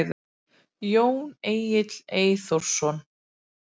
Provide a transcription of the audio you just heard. Jón Egill Eyþórsson.